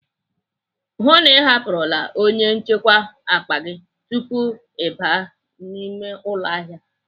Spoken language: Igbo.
Hụụ na Ị hapụrụla onye nchekwa akpa gị tupu gị aba n'ime ụlọ ahịa!